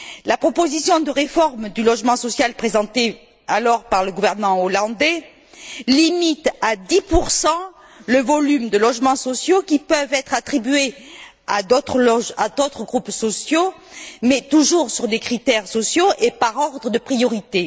La proposition de réforme du logement social présentée alors par le gouvernement hollandais limite à 10 le volume de logements sociaux qui peuvent être attribués à d'autres groupes sociaux, mais toujours sur des critères sociaux et par ordre de priorité.